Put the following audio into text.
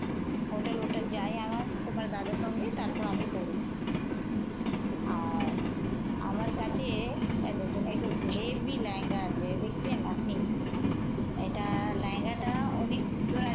Hotel hotel যাই আমার তোমার দাদার সঙ্গে। তারপর আমি পরি। আর আমার কাছে এই দেখুন একটু হেব্বি লেহেঙ্গা আছে। দেখছেন আপনি? এটা লেহেঙ্গা টা অনেক সুন্দর আছে।